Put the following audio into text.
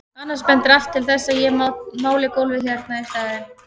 Annars bendir allt til þess að ég máli gólfið hérna í staðinn.